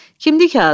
Kimdir ki, Azad?